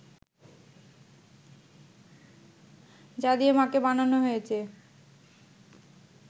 যা দিয়ে মা’কে বানানো হয়েছে